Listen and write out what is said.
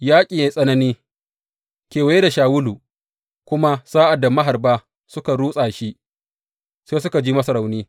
Yaƙin ya yi tsanani kewaye da Shawulu, kuma sa’ad da maharba suka rutsa shi, sai suka ji masa rauni.